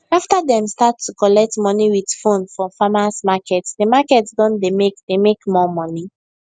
after dem start to collect money with phone for farmers marketthe market don dey make dey make more money